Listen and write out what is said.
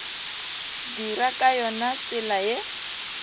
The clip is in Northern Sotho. dira ka yona tsela ye